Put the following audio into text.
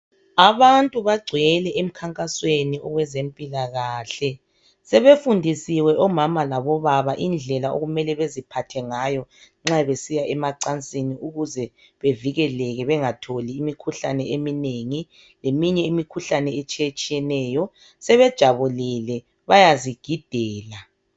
Abantu bagcwele emkhankasweni owezempilakahle sebefundisiwe omama labobaba indlela okumele beziphathe ngayo nxa besiya emacansini ukuze bevikeleke bengatholi imikhuhlane eminengi leminye imikhuhlane etshiyetshiyeneyo. Sebejabulile. Bayazigidela.